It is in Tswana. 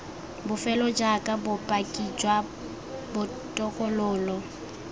bofelo jaaka bopaki jwa botokololo